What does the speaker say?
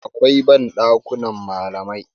akwai ban dakunan malamai